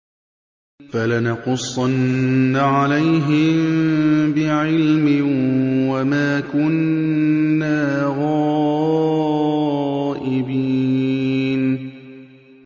فَلَنَقُصَّنَّ عَلَيْهِم بِعِلْمٍ ۖ وَمَا كُنَّا غَائِبِينَ